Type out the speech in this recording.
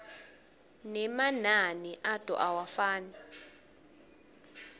nemanani ato awafani